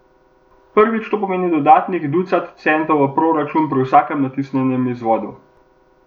Prvič to pomeni dodatnih ducat centov v proračun pri vsakem natisnjenem izvodu.